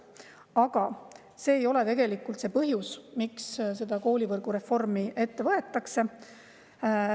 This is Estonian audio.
Aga see ei ole tegelikult põhjus, miks see koolivõrgu reform ette võetakse.